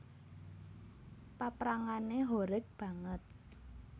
Paprangané horeg banget